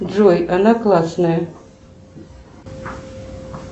джой она классная